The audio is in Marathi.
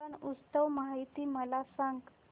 रण उत्सव माहिती मला सांग